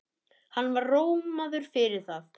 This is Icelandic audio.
Hann var rómaður fyrir það.